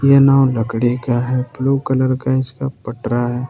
ये नांव लकड़ी का है ब्लू कलर का इसका पटरा है।